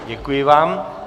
Děkuji vám.